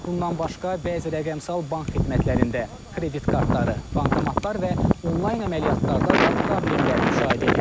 Bundan başqa bəzi rəqəmsal bank xidmətlərində, kredit kartları, bankomatlar və onlayn əməliyyatlarda da problemlər müşahidə edilib.